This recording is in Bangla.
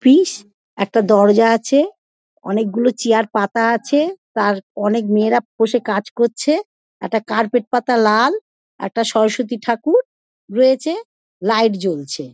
পিস । একটা দরজা আছে। অনেক গুলো চেয়ার পাতা আছে। তার অনেক মেয়েরা বসে কাজ করছে। একটা কার্পেট পাতা লাল। একটা সরস্বতী ঠাকুর রয়েছে। লাইট জ্বলছে।